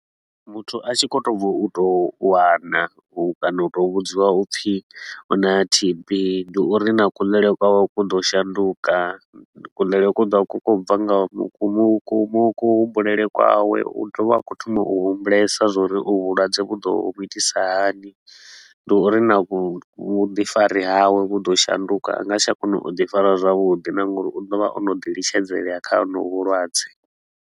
Muthu a tshi khou tou bva u tou wana u kana u tou vhudziwa upfi u na T_B, ndi uri na kuḽele kwawe ku ḓo shanduka. Kuḽele ku ḓo vha ku khou bva nga vhu ku mu ku mu kuhumbulele kwawe, u ḓovha a khou thoma u humbulesa zwa uri uvhu vhulwadze vhu ḓo vhu itisa hani. Ndi uri na vhu vhuḓifari hawe vhu ḓo shanduka, a nga si tsha kona u ḓi fara zwavhuḓi na nga uri u ḓo vha o no ḓi litshedzela kha honovhu vhulwadze.